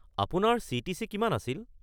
আপোনাৰ চি.টি.চি. কিমান আছিল?